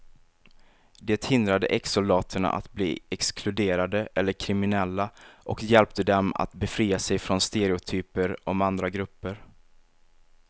Det hindrade exsoldaterna att bli exkluderade eller kriminella och hjälpte dem att befria sig från stereotyper om andra grupper.